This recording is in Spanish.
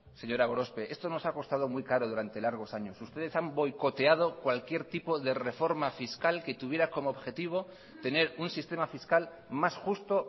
señora gorospe esto nos ha costado muy caro durante largos años ustedes han boicoteado cualquier tipo de reforma fiscal que tuviera como objetivo tener un sistema fiscal más justo